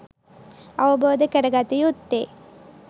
අවබෝධ කරගත යුත්තේ